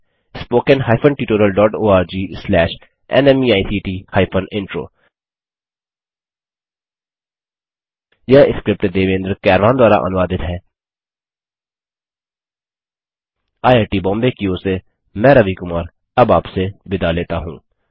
spoken hyphen tutorial dot org slash नमेक्ट hyphen intro यह script Devendra Kairwan द्वारा अनुवादित है आईआईटी बॉम्बे की ओर से मैं रवि कुमार अब आपसे विदा लेता हूँ